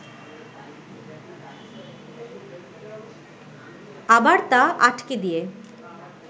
আবার তা আটকে দিয়ে